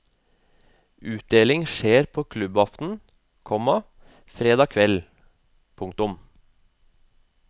Utdeling skjer på klubbaften, komma fredag kveld. punktum